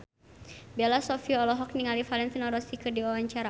Bella Shofie olohok ningali Valentino Rossi keur diwawancara